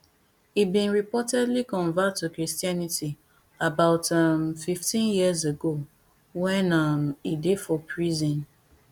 e bin reportedly convert to christianity about um fifteen years ago wen um e dey for prison